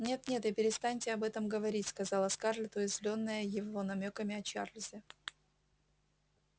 нет нет и перестаньте об этом говорить сказала скарлетт уязвлённая его намёками о чарлзе